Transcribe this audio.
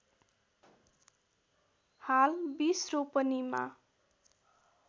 हाल २० रोपनिमा